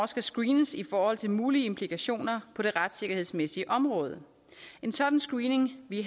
skal screenes i forhold til mulige implikationer på det retssikkerhedsmæssige område en sådan screening ville